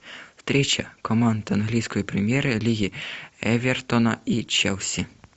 встреча команд английской премьер лиги эвертона и челси